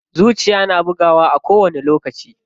Zuciya na bugawa a kowani lokaci.